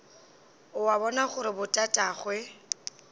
o a bona gore botatagwe